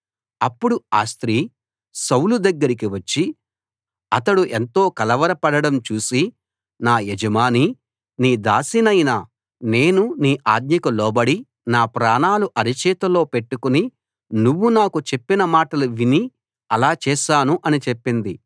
అప్పుడు ఆ స్త్రీ సౌలు దగ్గరికి వచ్చి అతడు ఎంతో కలవరపడడం చూసి నా యజమానీ నీ దాసినైన నేను నీ ఆజ్ఞకు లోబడి నా ప్రాణాలు అర చేతిలో పెట్టుకుని నువ్వు నాకు చెప్పిన మాటలు విని అలా చేశాను అని చెప్పింది